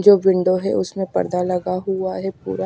जो विंडो है उसमें पर्दा लगा हुआ है पूरा--